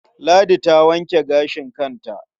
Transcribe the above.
Ladi ta wanke gashin kanta.